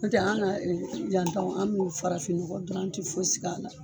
N tɛ an na yan taw an n'u farafin nɔgɔ dɔrɔn an ti fosi k'a la